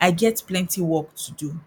i get plenty work to do